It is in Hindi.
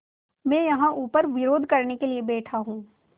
मैं यहाँ ऊपर विरोध करने के लिए बैठा हूँ